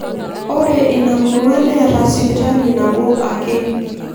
Ore ina murua neeta sipitali nabo ake.